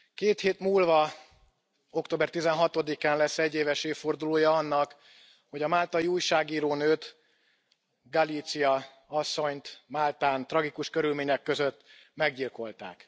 Két hét múlva, október tizenhatodikán lesz egyéves évfordulója annak, hogy a máltai újságírónőt, Galizia asszonyt Máltán tragikus körülmények között meggyilkolták.